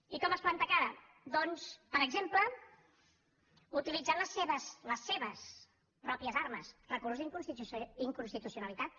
i com es planta cara doncs per exemple utilitzant les seves pròpies armes recurs d’inconstitucionalitat